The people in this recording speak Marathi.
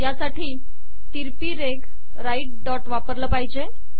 या साठी तिरपी रेघ राइट डॉट वापरले पाहिजे